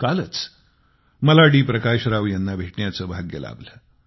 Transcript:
कालच मला डी प्रकाश राव यांना भेटण्याचे भाग्य लाभले